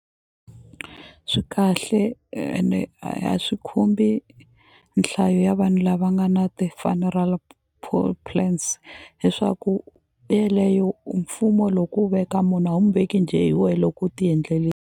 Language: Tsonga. Swi kahle ene a swi khumbi nhlayo ya vanhu lava nga na ti-funeral plans leswaku yeleyo mfumo loko wu veka munhu a wu mu veki njhe hi wena loko u ti .